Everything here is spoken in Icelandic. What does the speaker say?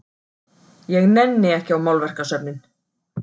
Ég nenni ekki á málverkasöfnin.